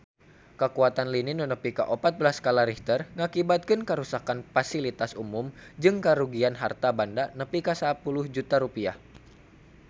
Kakuatan lini nu nepi opat belas skala Richter ngakibatkeun karuksakan pasilitas umum jeung karugian harta banda nepi ka 10 juta rupiah